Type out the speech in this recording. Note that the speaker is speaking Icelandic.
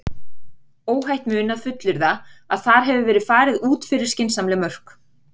Óhætt mun að fullyrða að þar hefur verið farið út fyrir skynsamleg mörk.